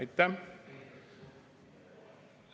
Aitäh!